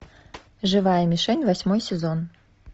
живая мишень восьмой сезон